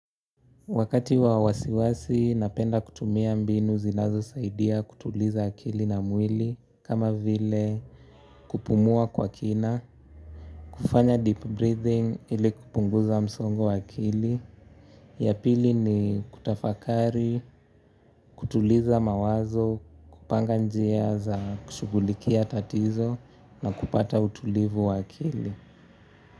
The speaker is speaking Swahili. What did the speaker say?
Wakati wa wasiwasi napenda kutumia mbinu zinazo saidia kutuliza akili na mwili kama vile kupumua kwa kina. Kufanya deep breathing ili kupunguza msongo wa akili. Ya pili ni kutafakari, kutuliza mawazo, kupanga njia za kushughulikia tatizo na kupata utulivu akili.